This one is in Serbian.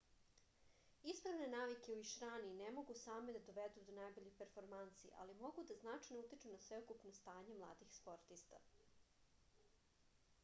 ispravne navike u išrani ne mogu same da dovedu do najboljih performansi ali mogu da značajno utiču na sveukupno stanje mladih sportista